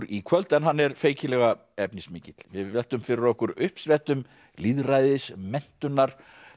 í kvöld en feikilega efnismikill við veltum fyrir okkur uppsprettum lýðræðis menntunar